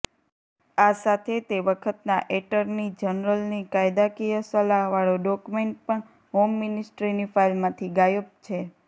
આ સાથે તે વખતના એટર્ની જનરલની કાયદાકિય સલાહવાળો ડોક્મેન્ટ પણ હોમ મિનિસ્ટ્રીની ફાઈલમાંથી ગાયબ છે